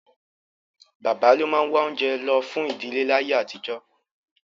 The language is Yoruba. Bàbá ló máa wá oúnjẹ lọ fún ìdíléláyé àtijọ́